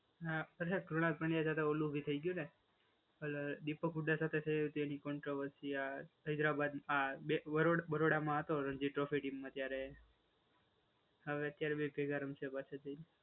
ના અચ્છા કુણાલ પંડ્યા સાથે પેલું ઓલુ ભી થઈ ગયું ને પેલુ દીપક ઉડા ગુડ્ડા ગુડ્ડા સાથે થયું તું એલિફન્ટ કવર્સિયા હૈદરાબાદ આ બે બરોડા બરોડામાં હતો રણજી ટ્રોફી ટીમમાં ત્યારે હવે અત્યારે બે કઈ કારણ છે બસ એટલું